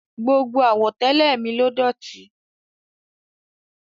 Gbogbo àwọ̀tẹ́lẹ̀ mi ló dọ̀tí.